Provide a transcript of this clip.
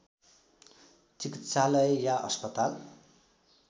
चिकित्सालय या अस्पताल